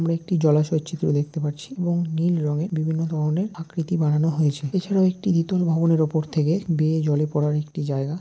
আমরা একটি জলাশয়ের চিত্র দেখতে পাচ্ছি এবং নীল রঙে বিভিন্ন ধরনের আকৃতি বানানো হয়েছেএছাড়াও একটি ইতল ভবনের উপর থেকে বেয়ে জলে পড়ার একটি জায়গা।